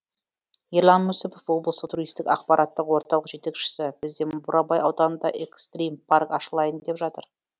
ерлан мүсіпов облыстық туристік ақпараттық орталық жетекшісі бізде бурабай ауданында экстрим парк ашылайын деп жатыр